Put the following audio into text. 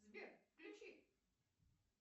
сбер включи